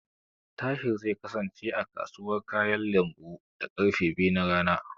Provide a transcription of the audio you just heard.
Tahir zai kasance, a kasuwar kayan lambu, da karfe biyu na rana.